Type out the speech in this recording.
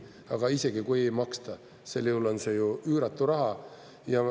Aga isegi kui ei maksta, sel juhul on see ju üüratu raha.